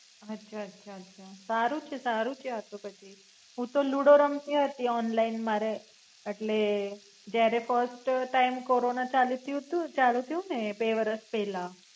અચ્છા અચ્છા અચ્છા સારુ છે સારુ છે આ તો પછી હું તો લુડો રમતી હતી ઓનલાઇન મારે એટલે જયારે ક ફર્સ્ટ ટાઇમ કોરોના ચાલુ થયું તું ચાલુ થયું તું ને બે વરસ પેલા.